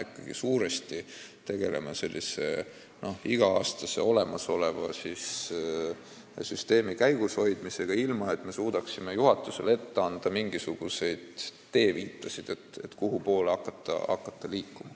Me praegu tegeleme ikkagi suuresti olemasoleva süsteemi iga-aastase käigushoidmisega, ilma et me suudaksime juhatusele ette anda mingisugust teeviita, kuhu poole liikuma hakata.